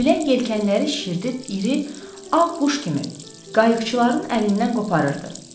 Külək yelkənləri şişirdib iri ağ quş kimi qayıqçıların əlindən qoparırdı.